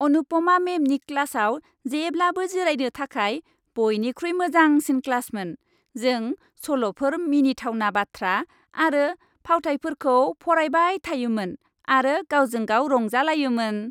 अनुपमा मैमनि क्लासआव जेब्लाबो जिरायनो थाखाय बयनिख्रुइ मोजांसिन क्लासमोन। जों सल'फोर, मिनिथावना बाथ्रा आरो फावथायफोरखौ फरायबाय थायोमोन आरो गावजों गाव रंजालायोमोन।